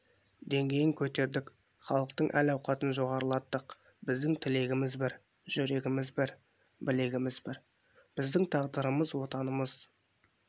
деңгейін көтердік халықтың әл-ауқатын жоғарылаттық біздің тілегіміз бір жүрегіміз бір білегіміз бір біздің тағдырымыз отанымыз